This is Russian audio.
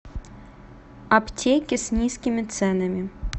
аптеки с низкими ценами